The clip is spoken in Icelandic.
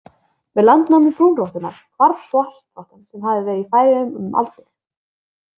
Með landnámi brúnrottunnar hvarf svartrottan sem hafði verið í Færeyjum um aldir.